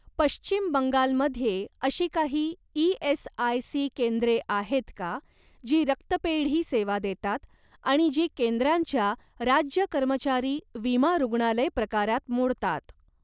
पश्चिम बंगाल मध्ये अशी काही ई.एस.आय.सी केंद्रे आहेत का जी रक्तपेढी सेवा देतात आणि जी केंद्रांच्या राज्य कर्मचारी विमा रुग्णालय प्रकारात मोडतात?